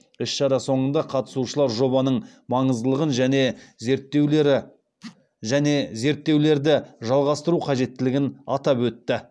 іс шара соңында қатысушылар жобаның маңыздылығын және зерттеулерді жалғастыру қажеттілігін атап өтті